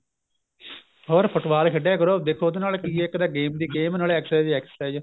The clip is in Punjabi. ਹੋਰ football ਖੇਡਿਆ ਕਰੋ ਦੇਖੋ ਉਹਦੇ ਨਾਲ ਕੀ ਏ ਇੱਕ ਤਾਂ game ਦੀ game ਨਾਲੇ exercise ਦੀ exercise